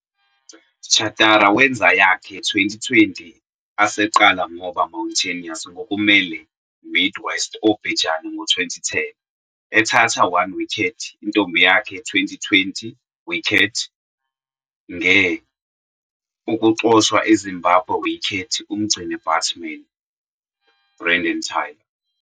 Chatara wenza yakhe Twenty20 aseqala ngoba Mountaineers ngokumelene Mid West Obhejane ngo-2010, ethatha 1 wicket, intombi yakhe Twenty20 wicket, nge ukuxoshwa eZimbabwe wicket umgcini-batsman, Brendan Taylor.